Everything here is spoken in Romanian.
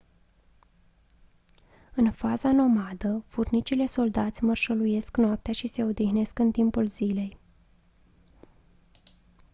în faza nomadă furnicile soldați mărșăluiesc noaptea și se odihnesc în timpul zilei